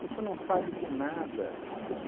não sabe de nada.